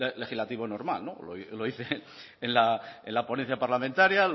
legislativo normal no lo hice en la ponencia parlamentaria